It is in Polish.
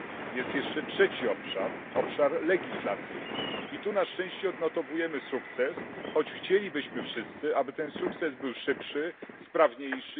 Jest jeszcze trzeci obszar obszar legislacyjny i tu na szczęście odnotowujemy sukces, choć chcielibyśmy wszyscy, aby ten sukces był szybszy, sprawniejszy.